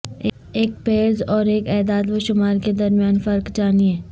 ایک پیرس اور ایک اعداد و شمار کے درمیان فرق جانیں